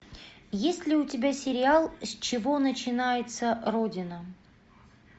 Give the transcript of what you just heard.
есть ли у тебя сериал с чего начинается родина